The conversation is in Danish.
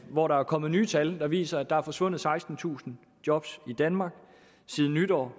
hvor der er kommet nye tal der viser at der er forsvundet sekstentusind job i danmark siden nytår